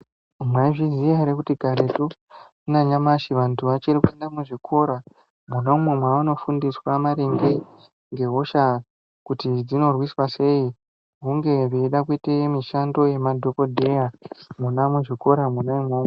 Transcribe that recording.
Mwaizviziya here kuti karekwo nanyamashi vantu vachiri kuenda muzvikora mwonamwo mwavano fundiswa maringe ngehosha kuti dzinorwiswa sei hunge vechida kuite mishando yemadhokodheya mwona muzvikora mwona umwomwo.